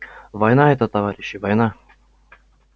война это товарищи война